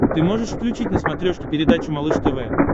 ты можешь включить на смотрешке передачу малыш тв